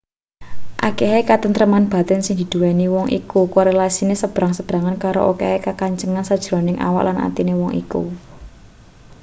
akehe katentreman batin sing diduweni wong iku korelasine sebrang-sebrangan karo akehe kakencengan sajeroning awak lan atine wong iku